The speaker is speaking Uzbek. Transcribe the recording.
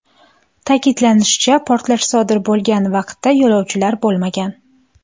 Ta’kidlanishicha, portlash sodir bo‘lgan vaqtda yo‘lovchilar bo‘lmagan.